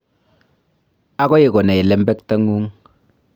Agoi konai lembektang'ung'